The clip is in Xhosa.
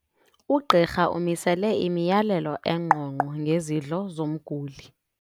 Ugqirha umisele imiyalelo engqongqo ngezidlo zomguli.